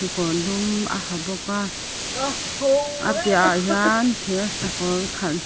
kekawr dum a ha bawk a apiahah hian thir sakawr khalh.